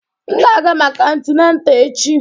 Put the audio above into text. M ga-aga maka antineta echi